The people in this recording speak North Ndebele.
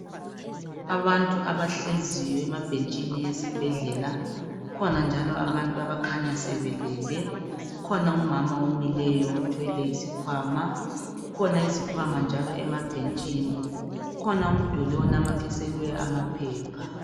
Abantu abahleziyo emabhentshini esibhedlela, kukhona njalo abantu abakhanya sebelele ,kukhona umama omileyo othwele isikhwama ,kukhona izikhwama njalo emabhentshini kukhona umduli onamathiselwe amaphepha.